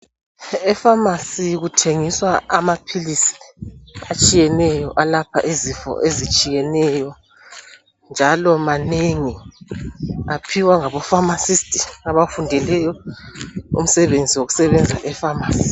Efamasi kuthengiswa amaphilisi atshiyeneyo alapha izifo ezitshiyeneyo njalo manengi aphiwa ngabo pharmacist abafundeleyo umsebenzi wokusebenza e pharmacy.